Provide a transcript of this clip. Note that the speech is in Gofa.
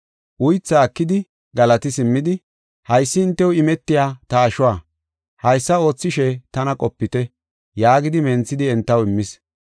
Uythaa ekidi, galati simmidi, “Haysi hintew imetiya ta ashuwa. Haysa oothishe tana qopite” yaagidi menthidi entaw immis.